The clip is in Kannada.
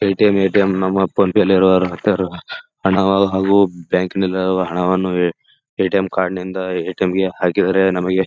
ಪೆಟಿಎಂ ಎ.ಟಿ.ಎಂ ನಮ್ಮ ಅಪ್ಪಂ ತಲ್ಯಾಗ ಹತ್ಯಾರು ಹಣ ಹಾಗು ಬ್ಯಾಂಕಿಂದ ಹಣವನ್ನು ಎ.ಟಿ.ಎಂ ಕಾರ್ಡ್ನಿಂದ ಎ.ಟಿ.ಎಂ ಗೆ ಹಾಕಿದರೆ ನಮಗೆ --